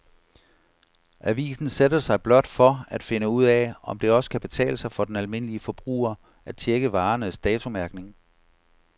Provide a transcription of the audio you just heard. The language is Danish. Avisen sætter sig blot for at finde ud af, om det også kan betale sig for den almindelige forbruger at checke varernes datomærkning.